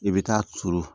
I bɛ taa turu